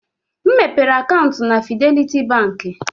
M mepere akaụntụ na Fidelity Bank.